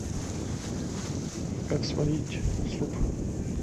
как сварить суп